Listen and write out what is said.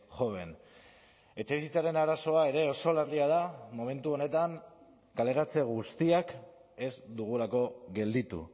joven etxebizitzaren arazoa ere oso larria da momentu honetan kaleratze guztiak ez dugulako gelditu